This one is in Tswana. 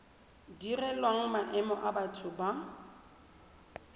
direlwang maemo a batho ba